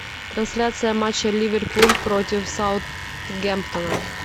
трансляция матча ливерпуль против саутгемптона